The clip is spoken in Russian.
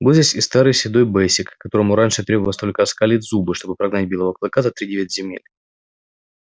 был здесь и старый седой бэсик которому раньше требовалось только оскалить зубы чтобы прогнать белого клыка за тридевять земель